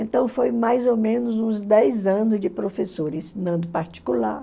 Então foi mais ou menos uns dez anos de professora, ensinando particular.